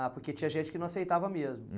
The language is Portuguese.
Ah, porque tinha gente que não aceitava mesmo.